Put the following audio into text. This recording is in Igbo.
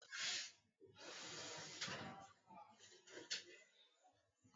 Kedụ mgbe ị gbanwere banye Medịsịn?